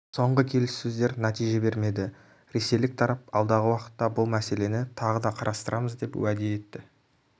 соңғы келіссөздер нәтиже бермеді ресейлік тарап алдағы уақытта бұл мәселені тағы да қарастырамыз деп уәде етті